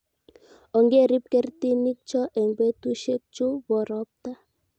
ongerib kertinik cho eng' betusiechu bo robta